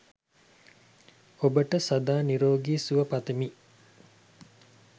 ඔබට සදා නිරෝගී සුව පතමි!